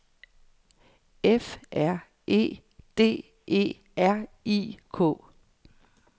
F R E D E R I K